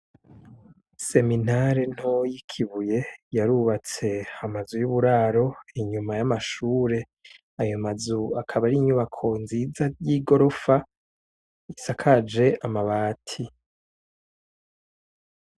Seminare ntoya yikibuye yarubatse amazu yuburaro inyuma yamashure ayo mazu akaba ari inyubako nziza yigorofa isakaje amabati